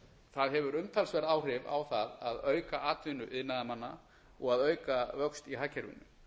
það hefur umtalsverð áhrif á það að auka atvinnu iðnaðarmanna og að auka vöxt í hagkerfinu